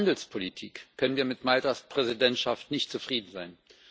Aus Sicht der Handelspolitik können wir mit Maltas Präsidentschaft nicht zufrieden sein.